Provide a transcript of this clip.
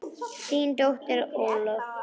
Þín dóttir Ólöf.